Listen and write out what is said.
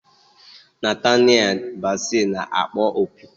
Nataniel Bassey na-akpọ opi.